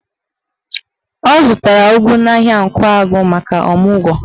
Ọ zụtara ụgụ n'ahịa Nkwagụ maka ọmụgwọ.